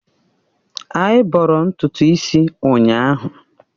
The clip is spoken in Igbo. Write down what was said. Anyị bọrọ ntutu isi ụnyahụ.